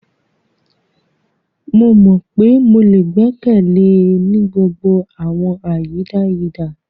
Mo mọ pe mo le gbẹkẹle e ni gbogbo awọn ayidayida.